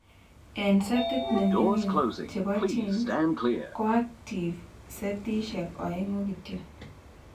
En setit ne mingin chepo genes , ko active setishek oengu kityok.